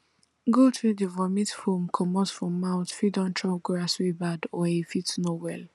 goat wey dey vomit foam comot for mouth fit don chop grass wey bad or e fit no well